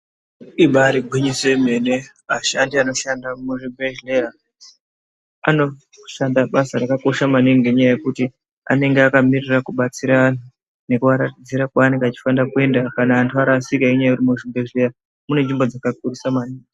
Ibari gwinyiso yemene ashandi anoshanda muzvibhehleya anoshanda basa rakakosha maningi ngenyaya yekuti anenge akamirira kubatsira antu nekuaratidzira kwanenge achifana kuenda kana arasika ngekuti muzvibhehleya mune nzvimbo dzakakurisa maningi.